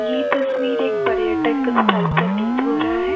यह तस्वीर एक पर्यटक स्थल प्रतीत हो रहा है।